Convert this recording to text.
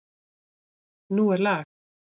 Nú er lag!